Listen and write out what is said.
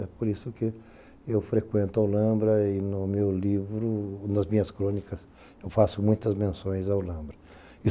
É por isso que eu frequento A Olambra e no meu livro, nas minhas crônicas, eu faço muitas menções a A Olambra.